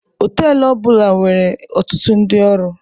Họtelu ọ bụla na-enwe ọtutụ ndị ọrụ.